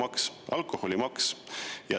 See on alkoholimaks.